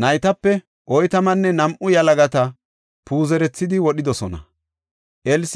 naytape oytamanne nam7u yalagata puuzerethidi wodhidosona. Babanthi